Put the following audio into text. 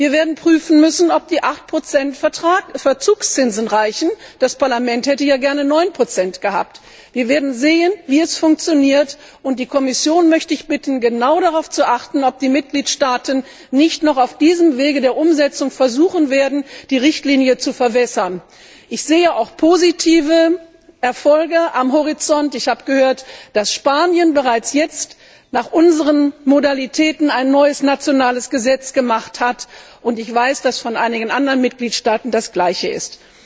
Wir werden prüfen müssen, ob die 8 Verzugszinsen reichen, das Parlament hätte ja gern 9 gehabt. Wir werden sehen, wie es funktioniert, und die Kommission möchte ich bitten, genau darauf zu achten, ob die Mitgliedstaaten nicht noch auf dem Wege der Umsetzung versuchen, die Richtlinie zu verwässern. Ich sehe auch positive Erfolge am Horizont. Ich habe gehört, dass Spanien bereits jetzt nach unseren Modalitäten ein neues nationales Gesetz gemacht hat, und ich weiß, dass es bei anderen Mitgliedstaaten das Gleiche